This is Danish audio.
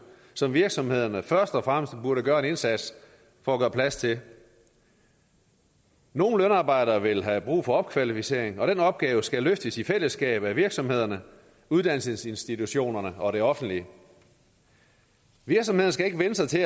som virksomhederne først og fremmest burde gøre en indsats for at gøre plads til nogle lønarbejdere vil have brug for opkvalificering og den opgave skal løftes i fællesskab af virksomhederne uddannelsesinstitutionerne og det offentlige virksomhederne skal ikke vænne sig til